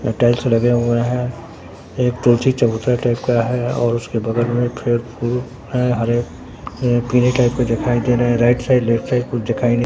यहां टाइल्स लगे हुए हैं एक चबूतरा टाइप का है और उसके बगल में पेड़ फुल है हरे ये पीले टाइप के दिखाई दे रहे है राइट साइड लेफ्ट साइड कुछ दिखाई नहीं--